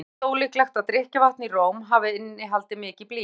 ekki er samt líklegt að drykkjarvatn í róm hafi innihaldið mikið blý